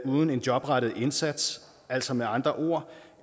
uden en jobrettet indsats altså med andre ord